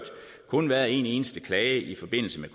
kun været en eneste klage i forbindelse med